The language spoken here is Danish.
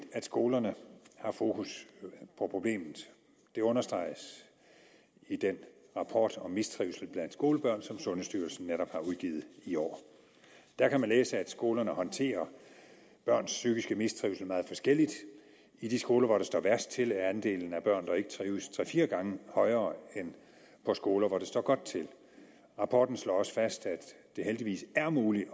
at skolerne har fokus på problemet det understreges i den rapport om mistrivsel blandt skolebørn som sundhedsstyrelsen netop har udgivet i år der kan man læse at skolerne håndterer børns psykiske mistrivsel meget forskelligt i de skoler hvor det står værst til er andelen af børn der ikke trives tre fire gange højere end på skoler hvor det står godt til rapporten slår også fast at det heldigvis er muligt